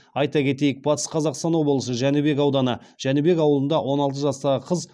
айта кетейік батыс қазақстан облысы жәнібек ауданы жәнібек ауылында он алты жастағы қыз